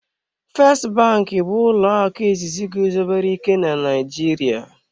"First bank" bụ ụlọ akụ izizi guzobere ike na Naịjirịa.